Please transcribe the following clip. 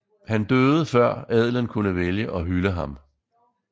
Han døde før adelen kunne vælge og hylde ham